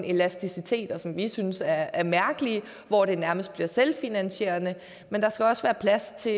elasticitet som vi synes er mærkeligt og hvor det nærmest bliver selvfinansierende men der skal også være plads til